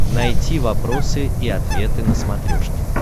найти вопросы и ответы на смотрешке